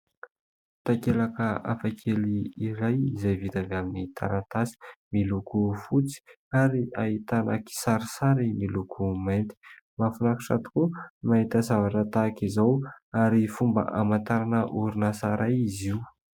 Takelaka hafakely iray izay vita avy amin'ny taratasy miloko fotsy ary ahitana kisarisary miloko mainty. Mahafinaritra tokoa mahita zavatra tahaka izao ary fomba hamantarana orinasa iray izy io.